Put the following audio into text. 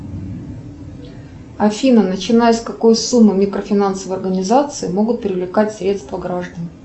афина начиная с какой суммы микрофинансовые организации могут привлекать средства граждан